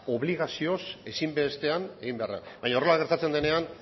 obligazioz ezinbestean egin behar dena baina horrela gertatzen denean